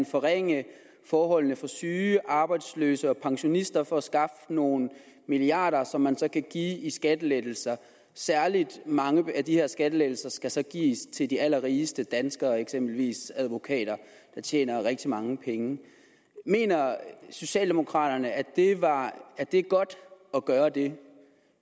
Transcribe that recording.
forringe forholdene for syge arbejdsløse og pensionister for at skaffe nogle milliarder som man så kan give i skattelettelser særligt mange af de her skattelettelser skal så gives til de allerrigeste danskere eksempelvis advokater der tjener rigtig mange penge mener socialdemokraterne at at det er godt at gøre det